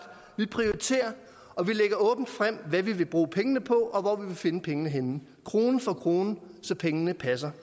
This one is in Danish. vi prioriterer og vi lægger åbent frem hvad vi vil bruge pengene på og hvor vi vil finde pengene krone for krone så pengene passer